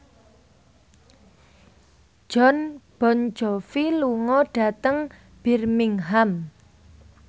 Jon Bon Jovi lunga dhateng Birmingham